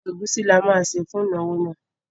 Ẹ̀gúsí ni a máa sè fún ìnáwó náà.